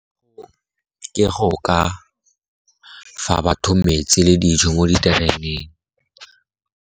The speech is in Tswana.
Ke go ka fa batho metsi le dijo mo ditereneng.